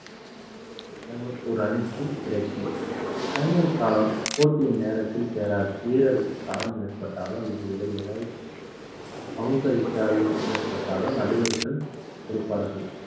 ஒரு அணிக்கு கிடைக்கும் காலம் போட்டியின் நேரத்தில் சேராது வீரருக்கு காயம் ஏற்பட்டாலோ அல்லது வேறு ஏதாவது அவுசரி காரியம் ஏற்பட்டாலோ நடுவர்கள் கொடுப்பார்கள்